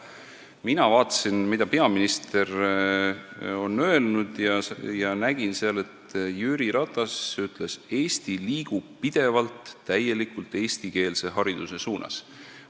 Mina vaatasin, mida peaminister on öelnud, ja nägin, et Jüri Ratas ütles seal videos, et Eesti liigub pidevalt täielikult eestikeelse hariduse suunas.